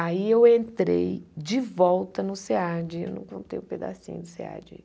Aí eu entrei de volta no SEAD, eu não contei o pedacinho do SEAD